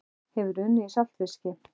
Hefurðu unnið í saltfiski?